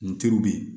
N teriw bɛ yen